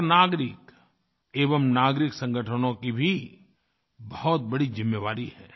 हर नागरिक एवं नागरिक संगठनों की भी बहुत बड़ी ज़िम्मेवारी है